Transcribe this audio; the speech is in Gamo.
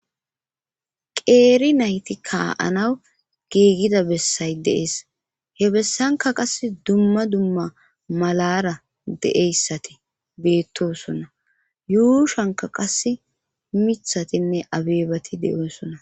Qeeri nayti ka7anaw giigida bessay deees he bessanka qass dumma dumma malara de7eyssati beettosona yuushanka qase mithatinne abeebati de'osonna.